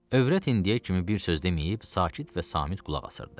Övrət indiyə kimi bir söz deməyib, sakit və samit qulaq asırdı.